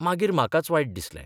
मागीर म्हाकाच वायट दिसलें.